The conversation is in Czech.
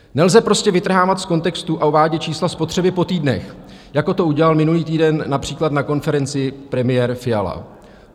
Nelze prostě vytrhávat z kontextu a uvádět čísla spotřeby po týdnech, jako to udělal minulý týden například na konferenci premiér Fiala.